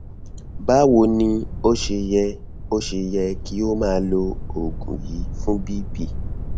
báwo ni ó ṣe yẹ ó ṣe yẹ kí o máa lo oògùn yìí fún bp